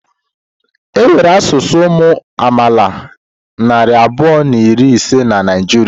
Enwere asụsụ ụmụ amaala narị abụọ na iri ise na Naịjirịa.